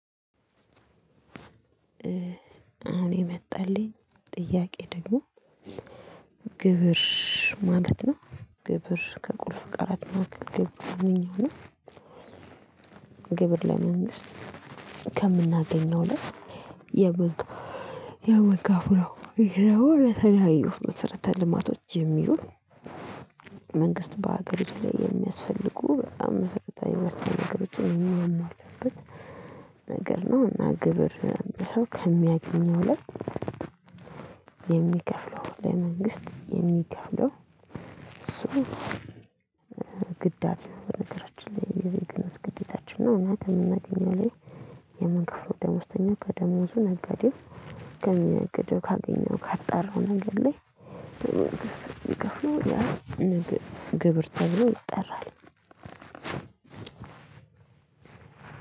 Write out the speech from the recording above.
አሁን የመጣልኝ ጥያቄ ደግሞ ግብር ማለት ነው ግብር ከቁልፍ ቀረት ማዕከል ግብር ምንኛው ነው። ግብር ለመንግስት ከምናገኘው ላይ የምንከፍለው ይሄ ደግሞ መሰረተ ልማቶች የሚውል መንግስት በሀገሪቱ ላይ የሚያስፈልጉ በጣም መሰረታዊ መስጠት ነገሮችን የሚሞላበት ነገር ነው። እና ግብር ሰው ከሚያገኘው ላይ የሚከፍለው ለመንግስት የሚከፍለው እሱ ግዳጅ ነው። በነገራችን ላይ የዜግነት ግዴታችን ነው። እና ከምናገኘው ላይ የምንከፍለው ደሞዝተኛ ከደሞዙ ላይ ነጋዴው ከሚነግደው ላይ